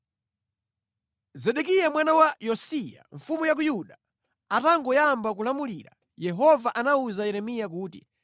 Zedekiya mwana wa Yosiya, mfumu ya ku Yuda, atangoyamba kulamulira, Yehova anawuza Yeremiya kuti,